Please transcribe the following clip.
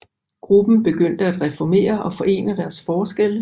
Gruppen begyndte at reformere og forene deres forskelle